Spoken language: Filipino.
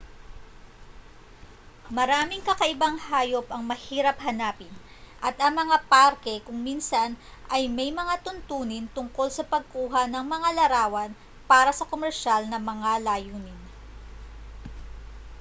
maraming kakaibang hayop ang mahirap hanapin at ang mga parke kung minsan ay may mga tuntunin tungkol sa pagkuha ng mga larawan para sa komersyal ng mga layunin